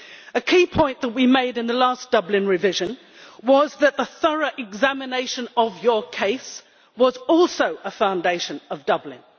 A key point that we made in the last Dublin revision was that the thorough examination of your case was also a foundation of Dublin.